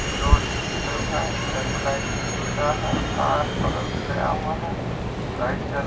road पे pillar है pillar मे लाइट की सुविधा है तार बगल से गया हुआ है लाइट जल --